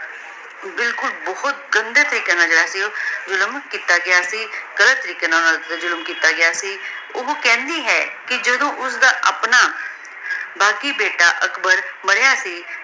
ਬਿਲਕੁਲ ਬੋਹਤ ਗੰਦੇ ਤਰੀਕ਼ੇ ਨਾਲ ਜੇਰਾ ਸੀ ਜ਼ੁਲਮ ਕੀਤਾ ਗਯਾ ਸੀ ਗਲਤ ਤਾਰਿਕ਼ਯ੍ਯ ਨਾਲ ਜ਼ੁਲਮ ਕੀਤਾ ਗਯਾ ਸੀ ਊ ਕੇਹ੍ਨ੍ਦੀ ਹੈ ਕੇ ਜਾਦੋੜਨ ਓਸਦਾ ਪਾਨਾ ਜਾਤੀ ਬੇਟਾ ਅਕਬਰ ਮਰਯ ਸੀ